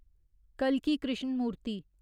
कल्की Krishnamurthy